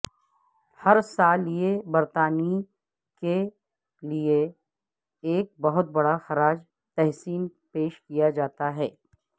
ہر سال یہ برطانوی لئے ایک بہت بڑا خراج تحسین پیش کیا جاتا ہے